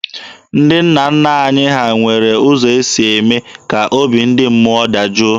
Ndị nna nna anyị ha nwere ụzọ ha si eme ka obi ndị mmụọ dajụọ.